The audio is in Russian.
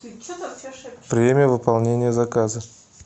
время выполнения заказа